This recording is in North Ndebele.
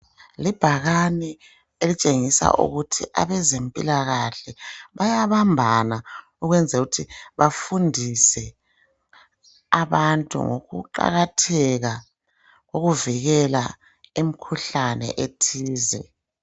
Libhakani elitshengisa ukuthi abazempilakahle bayabambana ukwenzelukuthi bafundise abantu ngokuqakatheka kokuvikela imikhuhlane ethize.